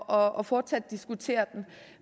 og og fortsat diskuterer den